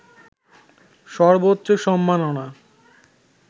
সর্বোচ্চ সম্মাননা